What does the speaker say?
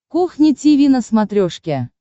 кухня тиви на смотрешке